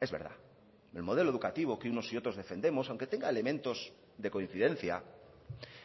es verdad el modelo educativo que unos y otros defendemos aunque tenga elementos de coincidencia